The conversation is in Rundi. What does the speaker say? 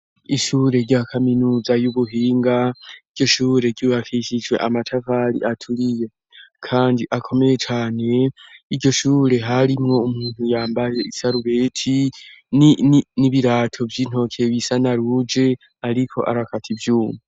Ishure rya kaminuza y'ubuhinga iryo shure ryibakishijwe amatavali aturiye, kandi akomeye cane iryo shure harimwo umuntu yambaye isaruweti n'ibirato vy'intoke bisa na ruje, ariko arakata ivyumu.